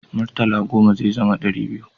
Murtala goma zai zama dari biyu